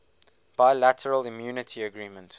bilateral immunity agreement